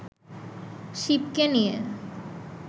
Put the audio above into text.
শিবকে নিয়ে